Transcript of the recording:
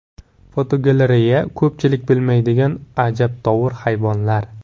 Fotogalereya: Ko‘pchilik bilmaydigan ajabtovur hayvonlar.